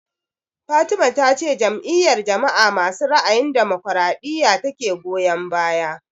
Fatima ta ce Jam'iyar jama'a masu ra'ayin damokaraɗiya ta ke goyan baya